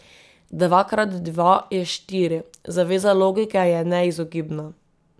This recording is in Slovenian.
Dvakrat dva je štiri, zaveza logike je neizogibna.